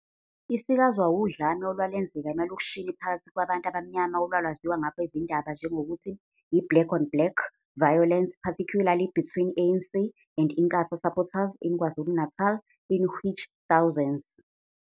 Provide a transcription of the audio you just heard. isikazwa wudlame olwalenzeka emalokishini phakathi kwabantu abamnyama olwalwaziwa kwabezindaba njengokuthi yi-"black-on-black" violence, particularly between ANC and Inkatha supporters in KwaZulu-Natal, in which thousands